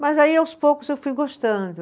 Mas aí, aos poucos, eu fui gostando.